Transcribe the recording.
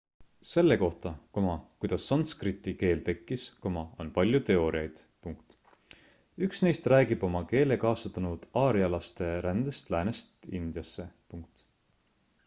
selle kohta kuidas sanskriti keel tekkis on palju teooriaid üks neist räägib oma keele kaasa toonud aarjalaste rändest läänest indiasse